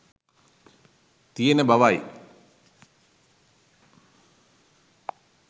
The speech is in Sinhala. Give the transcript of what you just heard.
තියෙන බවයි.